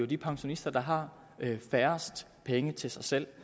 de pensionister der har færrest penge til sig selv